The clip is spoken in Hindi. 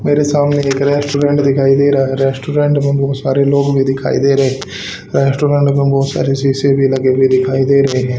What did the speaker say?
मेरे सामने एक रेस्टोरेंट दिखाई दे रहा हैं रेस्टोरेंट में बहोत सारे लोग भीं दिखाई दे रहें हैं रेस्टोरेंट में बहोत सारे शीशे भीं लगे हुए दिखाई दे रहें हैं।